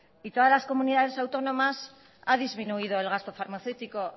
y todas las comunidades autónomas han disminuido el gasto farmacéutico